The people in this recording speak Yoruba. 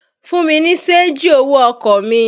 Fún mi ní ṣéńjì owó ọkọ̀ mi!